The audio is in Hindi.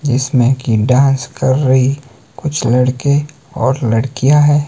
जिसमें की डांस कर रही कुछ लड़के और लड़कियां हैं।